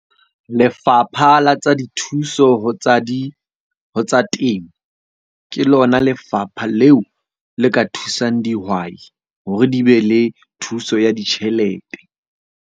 Lefapha la tsa Dithuso ho tsa di tsa Temo, ke lona lefapha leo le ka thusang dihwai hore di be le thuso ya ditjhelete.